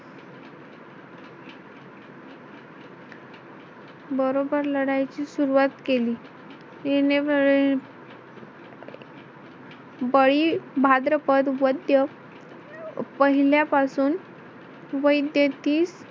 बरोबर लढाईची सुरुवात केली. बळी भाद्रपद वद्य पहिल्यापासून वैद्य तीस